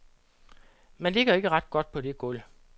Man ligger ikke ret godt på det gulv.